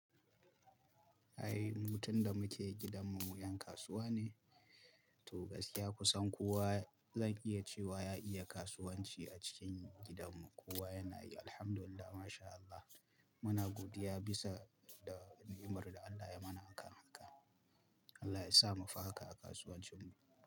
Ai mu tun da muke gidan mu, 'yan kasuwa ne. To gaskiya kusan kowa zan iya cewa ya iya kasuwanci a cikin gidan mu. Kowa yana yi, Alhamdulillah, Masha Allah. Muna godiya bisa da ni'imar da Allah ya mana a kan haka. Allah ya sa mu fi haka a kasuwancin mu.